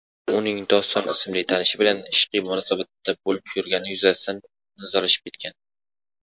uning "Doston" ismli tanishi bilan ishqiy munosabatda bo‘lib yurgani yuzasidan nizolashib kelgan.